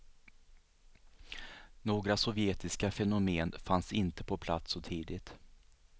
Några sovjetiska fenomen fanns inte på plats så tidigt.